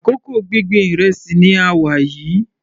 Àkókò gbíngbin ìrẹsì ni a wà yìí.